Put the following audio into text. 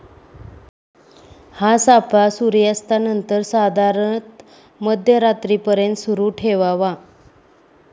हा सापळा सुर्यास्तानंतर साधारणतः मध्यरात्रीपर्यंत सुरू ठेवावा.